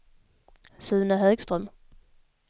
Sune Högström